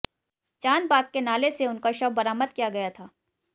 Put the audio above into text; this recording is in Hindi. चॉंदबाग के नाले से उनका शव बरामद किया गया था